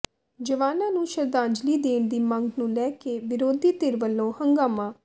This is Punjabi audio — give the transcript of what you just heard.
ਜਵਾਨਾਂ ਨੂੰ ਸ਼ਰਧਾਂਜਲੀ ਦੇਣ ਦੀ ਮੰਗ ਨੂੰ ਲੈ ਕੇ ਵਿਰੋਧੀ ਧਿਰ ਵੱਲੋਂ ਹੰਗਾਮਾ